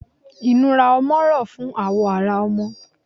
Inúrá ọmọ rọ fún awọ ará ọmọ